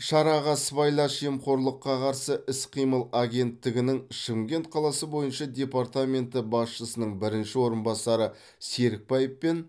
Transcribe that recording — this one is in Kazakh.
шараға сыбайлас жемқорлыққа қарсы іс қимыл агенттігінің шымкент қаласы бойынша департаменті басшысының бірінші орынбасары серікбаев пен